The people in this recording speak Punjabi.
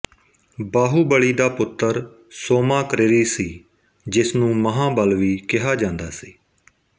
ਬਾਹੂਬਲੀ ਦਾ ਪੁੱਤਰ ਸੋਮਾਕਰਿਰੀ ਸੀ ਜਿਸ ਨੂੰ ਮਹਾਂਬਲ ਵੀ ਕਿਹਾ ਜਾਂਦਾ ਸੀ